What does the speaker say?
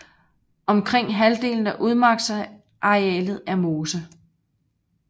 Omkring halvdelen af udmarksarealet er mose